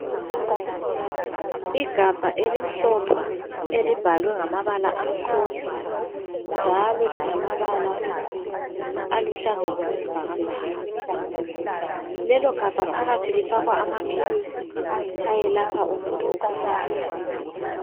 Igabha elimhlophe elibhalwe ngamabala amhlophe njalo lilamabala aluhlaza okwe sibhakabhaka, lelo gabha phakathi lifakwa amaphilisi ayelapha umuntu ogulayo.